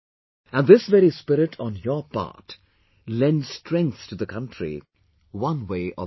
And this very spirit on your part lends strength to the country, one way or the other